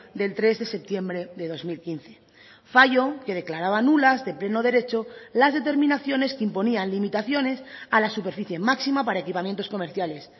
del tres de septiembre de dos mil quince fallo que declaraba nulas de pleno derecho las determinaciones que imponían limitaciones a la superficie máxima para equipamientos comerciales